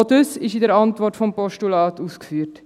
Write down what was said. Auch dies ist in der Antwort des Postulats ausgeführt.